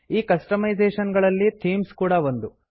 ಈ ಕಸ್ಟಮೈಝೇಷನ್ ಗಳಲ್ಲಿ ಥೀಮ್ಸ್ ಕೂಡಾ ಒಂದು